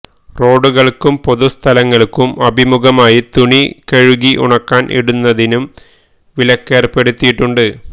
റോഡുകൾക്കും പൊതുസ്ഥലങ്ങൾക്കും അഭിമുഖമായി തുണി കഴുകി ഉണക്കാൻ ഇടുന്നതിനും വിലക്കേർപ്പെടുത്തിയിട്ടുണ്ട്